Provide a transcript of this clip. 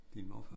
Din morfar